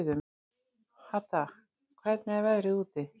Hadda, hvernig er veðrið úti?